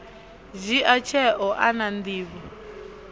dzhia tsheo a na nḓivho